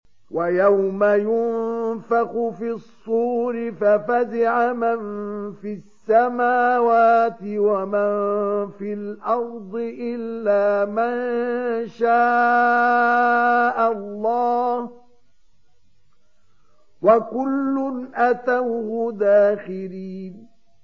وَيَوْمَ يُنفَخُ فِي الصُّورِ فَفَزِعَ مَن فِي السَّمَاوَاتِ وَمَن فِي الْأَرْضِ إِلَّا مَن شَاءَ اللَّهُ ۚ وَكُلٌّ أَتَوْهُ دَاخِرِينَ